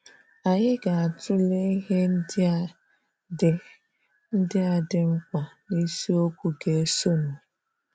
Anyị ga-atụle ihe ndị a dị ndị a dị mkpa n'isiokwu ga-esonụ.